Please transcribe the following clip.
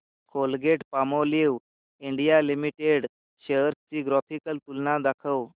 Colgate Palmolive India limited shares ची graphical तुलना दाखव